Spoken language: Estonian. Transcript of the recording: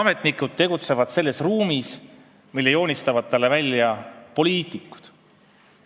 Ametnikud tegutsevad selles ruumis, mille joonistavad neile ette poliitikud.